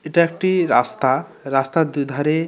এটা একটি রাস্তা। রাস্তার দুইধারে --